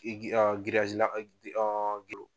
I